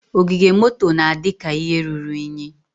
Ogige moto na-adị ka ihe ruru unyi.